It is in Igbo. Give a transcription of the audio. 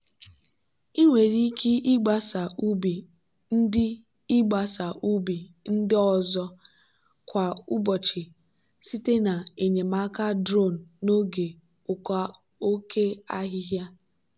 ị nwere ike ịgbasa ubi ndị ịgbasa ubi ndị ọzọ kwa ụbọchị site na enyemaka drone n'oge oke ahihia.